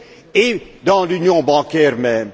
et dans l'union bancaire même.